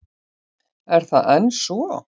Er það enn svo?